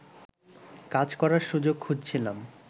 কাজ করার সুযোগ খুঁজছিলাম